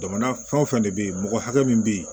Jamana fɛn o fɛn de bɛ yen mɔgɔ hakɛ min bɛ yen